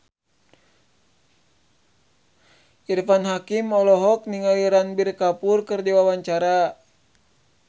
Irfan Hakim olohok ningali Ranbir Kapoor keur diwawancara